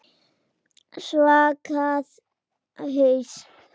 Svaka haus.